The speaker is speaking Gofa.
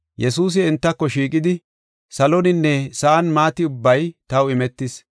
Yesuusi entako shiiqidi, “Saloninne sa7an maati ubbay taw imetis.